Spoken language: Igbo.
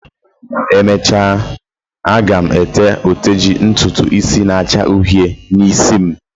emechaa m ga e te oteji ntutu isi n'acha uhie n'isim